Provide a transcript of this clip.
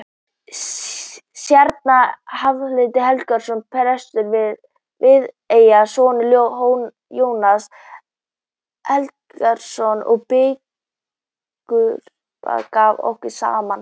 Séra Hálfdan Helgason, prestur í Viðey, sonur Jóns Helgasonar biskups, gaf okkur saman.